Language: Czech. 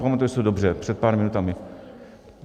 Pamatuji si to dobře, před pár minutami?